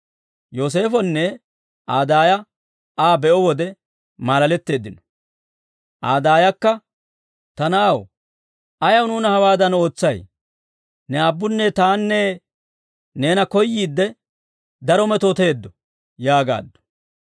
Yooseefonne Aa daaya Aa be'o wode maalaletteeddino. Aa daayakka, «Ta Na'aw, ayaw nuuna hawadan ootsay? Ne aabbunne tanne Neena koyyiidde, daro metooteeddo» yaagaaddu.